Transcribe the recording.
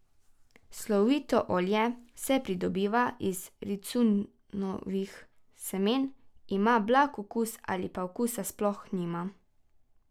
Slovito olje se pridobiva iz ricinusovih semen, ima blag okus ali pa okusa sploh nima.